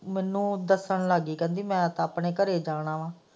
ਮੈਨੂੰ ਦੱਸਣ ਲੱਗ ਗਈ ਕਹਿੰਦੀ ਮੈਂ ਆਪਣੇ ਘਰੇ ਜਾਣਾ ਵਾ।